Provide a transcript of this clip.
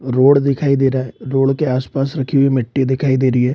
Road दिखाई दे रहा है रोड के आस-पास रखी हुई मिट्टी दिखाई दे रही है ।